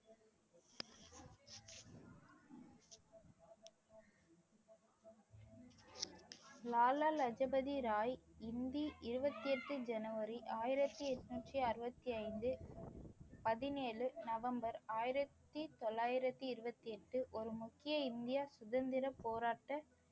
லாலா லஜபதி ராய் ஹிந்தி இருபத்தி எட்டு ஜனவரி ஆயிரத்தி எண்ணூற்றி அறுபத்தி ஐந்து பதினேழு நவம்பர் ஆயிரத்தி தொள்ளாயிரத்தி இருபத்தி எட்டு ஒரு முக்கிய இந்திய சுதந்திர போராட்ட